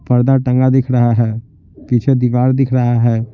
पर्दा टंगा दिख रहा है पीछे दीवार दिख रहा है।